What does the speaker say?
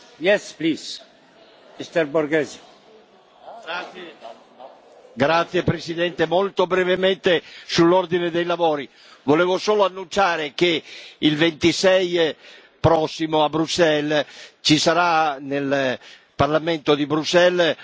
Signor Presidente, molto brevemente sull'ordine dei lavori volevo solo annunciare che il 26 aprile prossimo a Bruxelles sarà celebrata al Parlamento a Bruxelles una messa di trigesima